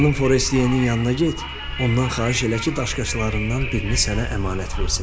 Xanım Forestiyenin yanına get, ondan xahiş elə ki, daşqaşlarından birini sənə əmanət versin.